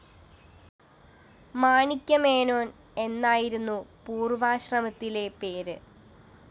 മാണിക്യമേനോന്‍ എന്നായിരുന്നു പൂര്‍വാശ്രമത്തിലെ പേര്